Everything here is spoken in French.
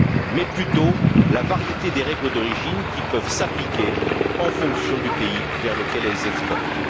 mais plutôt la variété des règles d'origine qui peuvent s'appliquer en fonction du pays vers lequel elles exportent.